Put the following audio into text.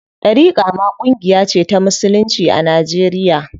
Ɗariƙa ma ƙungiya ce ta musulunci a Najeriya.